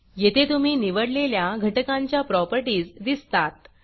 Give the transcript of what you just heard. येथे तुम्ही निवडलेल्या घटकांच्या प्रॉपर्टीज दिसतात